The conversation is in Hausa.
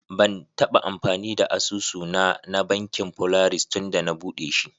Ban taba amfani da asusu na, na Bankin polaris tunda na buɗe shi.